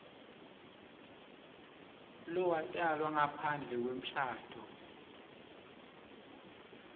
lowatalwa ngaphandle kwemshado